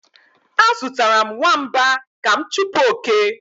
Azụtara m nwamba ka m chụpụ oke